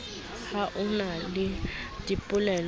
ha o na le dipoleo